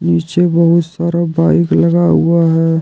पीछे बहुत सारा बाइक लगा हुआ है।